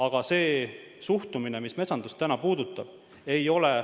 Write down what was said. Aga praegune suhtumine metsandusse ei ole enam normaalne.